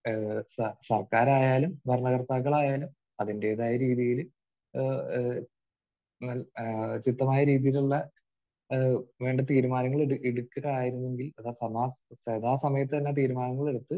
ഏഹ് സ...സർക്കാരായാലും ഭരണകർത്താക്കളായാലും അതിന്റേതായ രീതിയിൽ ഏഹ് ഏഹ് അൽ ചിട്ടമായ രീതിയിലുള്ള ഏഹ് വേണ്ട തീരുമാനങ്ങൾ എട്...എടുക്കുകയായിരുന്നുവെങ്കിൽ അത് സമാ...സദാസമയത്ത് തന്നെ തീരുമാനങ്ങളെടുത്ത്